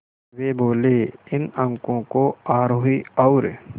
वे बोले इन अंकों को आरोही और